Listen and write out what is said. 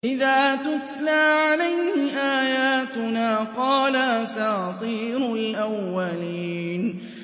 إِذَا تُتْلَىٰ عَلَيْهِ آيَاتُنَا قَالَ أَسَاطِيرُ الْأَوَّلِينَ